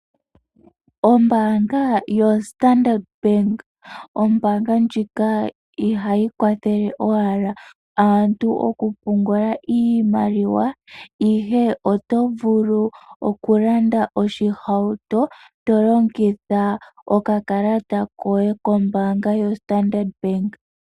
Ombanga yaStandard Bank, ombanga ndjika ihayi kwathele owala aantu okupungula iimaliwa, ihe oto vulu okulanda oshihauto to longitha okakalata koye kombanga yoStandard Bank.